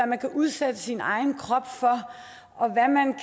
man kan udsætte sin egen krop for og hvad man